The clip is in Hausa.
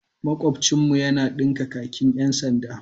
Makwabcinmu yana dinka kakin 'yan sanda.